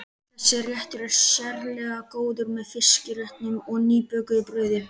Þessi réttur er sérlega góður með fiskréttum og nýbökuðu brauði.